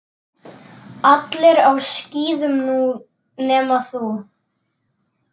Allir á skíðum nema þú.